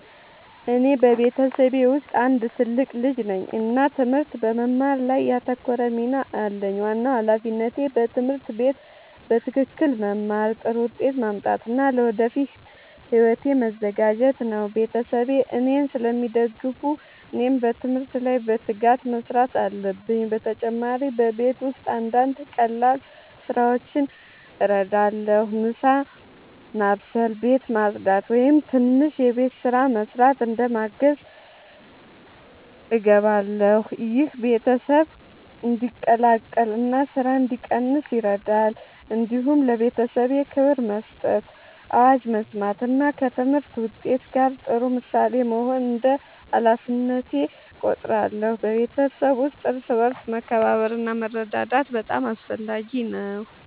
እኔ በቤተሰቤ ውስጥ አንድ ትልቅ ልጅ ነኝ እና ትምህርት በመማር ላይ ያተኮረ ሚና አለኝ። ዋናው ሃላፊነቴ በትምህርት ቤት በትክክል መማር፣ ጥሩ ውጤት ማምጣት እና ለወደፊት ሕይወቴ መዘጋጀት ነው። ቤተሰቤ እኔን ስለሚደግፉ እኔም በትምህርት ላይ በትጋት መስራት አለብኝ። በተጨማሪ በቤት ውስጥ አንዳንድ ቀላል ስራዎችን እረዳለሁ። ምሳ መስበስ፣ ቤት ማጽዳት ወይም ትንሽ የቤት ስራ መስራት እንደ ማገዝ እገባለሁ። ይህ ቤተሰብ እንዲቀላቀል እና ስራ እንዲቀንስ ይረዳል። እንዲሁም ለቤተሰቤ ክብር መስጠት፣ አዋጅ መስማት እና ከትምህርት ውጤት ጋር ጥሩ ምሳሌ መሆን እንደ ሃላፊነቴ እቆጥራለሁ። በቤተሰብ ውስጥ እርስ በርስ መከባበር እና መረዳዳት በጣም አስፈላጊ ነው።